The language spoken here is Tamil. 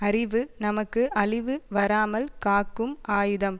அறிவு நமக்கு அழிவு வராமல் காக்கும் ஆயுதம்